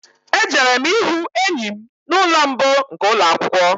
Ejere m ịhụ enyi m n'ụlọ mbụ nke ụlọ akwụkwọ